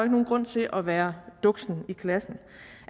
nogen grund til at være duksen i klassen